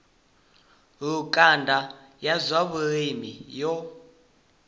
lukanda ya zwa vhulimi yo